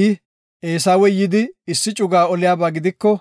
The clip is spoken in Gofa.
I, “Eesawey yidi issi cuga oliyaba gidiko,